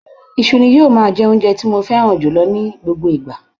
Iṣu ni yóò máa jẹ́ oúnjẹ tí mo fẹ́ran jùlọ ní gbogbo ìgbà